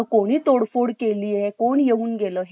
हो असंच आहे आणि मला पण असं वाटतो की फक्त job भेटायला पण नाही